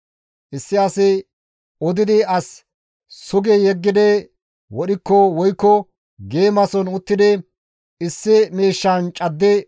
« ‹Issi asi odidi as sugi yeggi wodhikko woykko geemason uttidi issi miishshan caddi,